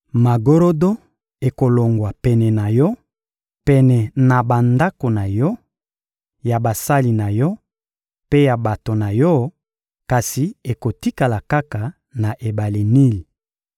Magorodo ekolongwa pene na yo, pene na bandako na yo, ya basali na yo mpe ya bato na yo; kasi ekotikala kaka na ebale Nili.